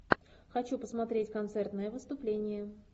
хочу посмотреть концертное выступление